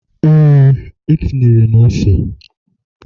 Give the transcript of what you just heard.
ee, etinyere m ose